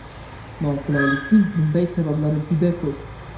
Noqulaylikning bunday sabablari juda ko‘p.